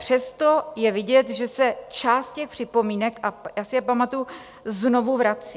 Přesto je vidět, že se část těch připomínek, a já si je pamatuji, znovu vrací.